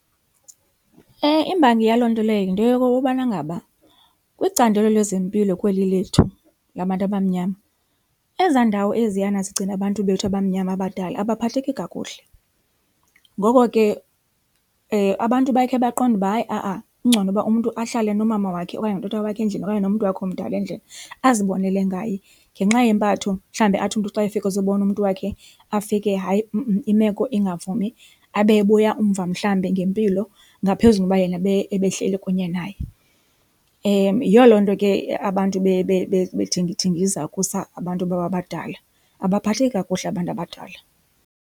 Imbangi yaloo nto leyo yinto yokubana ngaba kwicandelo lwezempilo kweli lethu labantu abamnyama ezaa ndawo eziyana zigcina abantu bethu abamnyama abadala abaphatheki kakuhle. Ngoko ke abantu bakhe baqonde uba hayi a-a kungcono ukuba umntu ahlale nomama wakhe okanye notata wakhe endlini okanye nomntu wakhe omdala endlini azibonele ngaye ngenxa yempatho. Mhlawumbi athi umntu xa efika ezibona umntu wakhe afike hayi imeko ingavumi abe ebuya umva mhlawumbi ngempilo ngaphezu kokuba yena ebehleli kunye naye. Yiyo loo nto ke abantu bethingithingiza ukusa abantu babo abadala, abaphatheki kakuhle abantu abadala.